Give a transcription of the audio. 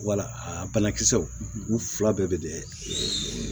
Wala a banakisɛw u fila bɛɛ bɛ dɛ